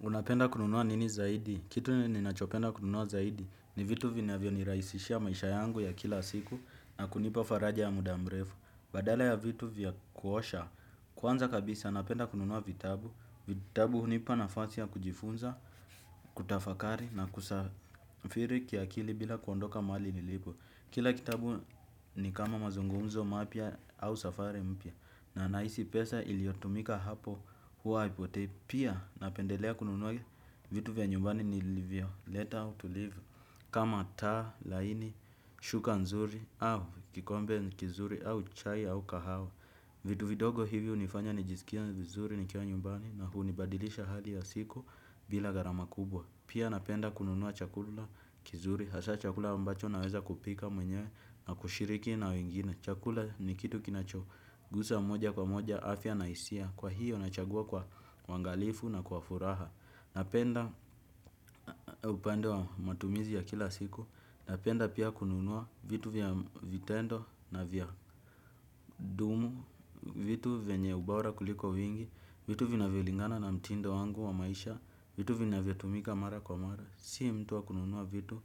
Unapenda kununua nini zaidi? Kitu ninachopenda kununua zaidi ni vitu vinavyo nirahisishia maisha yangu ya kila siku na kunipa faraja ya muda mrefu. Badala ya vitu vya kuosha. Kwanza kabisa napenda kununua vitabu. Vitabu hunipa nafasi ya kujifunza, kutafakari na kusafiri kiakili bila kuondoka mali nilipo. Kila kitabu ni kama mazungumzo mapya au safari mpya. Na nahisi pesa iliotumika hapo hua haipotei pia napendelea kununua vitu vya nyumbani nilivyo leta to live. Kama taa laini, shuka nzuri au kikombe kizuri au chai au kahawa. Vitu vidogo hivi unifanya nijisikie vizuri nikiwa nyumbani. Na hunibadilisha hali ya siku bila gharama kubwa. Pia napenda kununuwa chakula kizuri. Hasa chakula mbacho naweza kupika mwenyewe na kushiriki na wengine. Chakula ni kitu kinacho gusa moja kwa moja afya na hisia. Kwa hiyo nachagua kwa uangalifu na kwa furaha. Napenda upande wa matumizi ya kila siku. Napenda pia kununua vitu vya vitendo na vya dumu. Vitu venye ubora kuliko vingi. Vitu vinavyo lingana na mtindo wangu wa maisha. Vitu vina vya tumika mara kwa mara. Sii mtuwa kununua vitu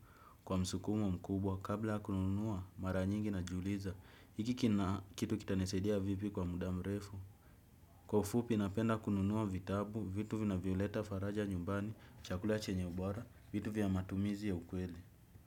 kwa msukumo mkubwa kabla kununua mara nyingi najuliza hiki kina kitu kita nisaidia vipi kwa muda mrefu. Kwa ufupi napenda kununua vitabu vitu vinavyoleta faraja nyumbani chakula chenye ubora vitu vya matumizi ya ukweli.